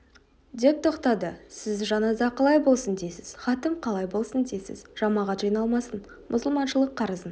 деп тоқтады сіз жаназа қалай болсын дейсіз хатім қалай болсын дейсіз жамағат жиналмасын мұсылманшылық қарызын